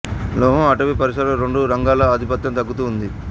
లోహం అటవీ పరిశ్రమ రెండు రంగాల ఆధిపత్యం తగ్గుతూ ఉంది